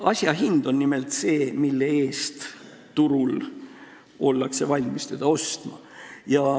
Asja hind on nimelt see, mille eest turul ollakse valmis seda ostma.